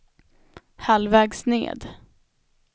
halvvägs ned